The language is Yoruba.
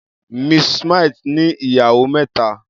Mrs. Smith ní ìyàwó mẹ́ta.